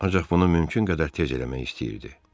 Ancaq bunu mümkün qədər tez eləmək istəyirdi.